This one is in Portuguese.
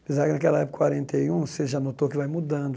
Apesar que, naquela época, quarenta e um, você já notou que vai mudando.